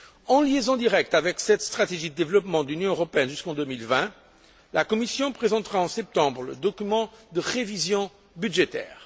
En liaison directe avec cette stratégie de développement de l'Union européenne jusqu'en 2020, la Commission présentera, en septembre, le document de révision budgétaire.